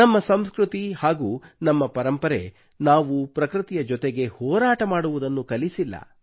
ನಮ್ಮ ಸಂಸ್ಕೃತಿ ಹಾಗೂ ನಮ್ಮ ಪರಂಪರೆಯು ನಾವು ಪ್ರಕೃತಿಯ ಜೊತೆಗೆ ಹೋರಾಟ ಮಾಡುವುದನ್ನು ಕಲಿಸಿಲ್ಲ